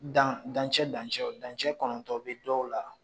Dan dancɛ dancɛ dancɛ kɔnɔntɔn bɛ dɔw la